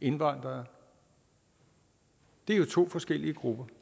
indvandrere det er jo to forskellige grupper